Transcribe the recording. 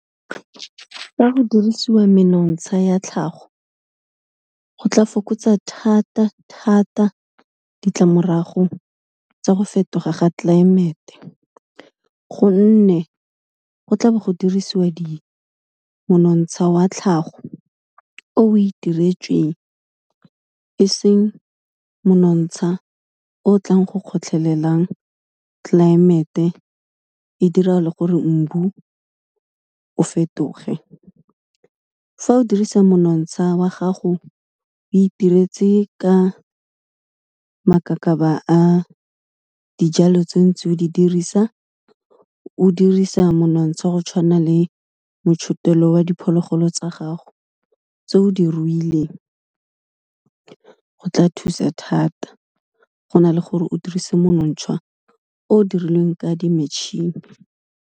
Fa go dirisiwa menontsha ya tlhago, go tla fokotsa thata-thata ditlamorago tsa go fetoga ga tlelaemete, gonne go tlabo go dirisiwa di, monontsha wa tlhago, o itiretsweng eseng monontsha o tlang go kgotlhelelang tlelaemete, e dira le gore mbu o fetoge. Fa o dirisa monontsha wa gago o itiretse ka makaka ka ba a dijalo tse ontseng o di dirisa, o dirisa monontsha go tshwana le motshotelo wa diphologolo tsa gago tse o di ruileng, go tla thusa thata go na le gore o dirise monontsha o dirilweng ka di matšhini.